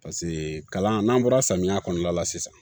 Paseke kalan n'an bɔra samiya kɔnɔna la sisan